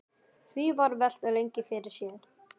Því var velt lengi fyrir sér.